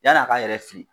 Yann'a ka yɛrɛ fili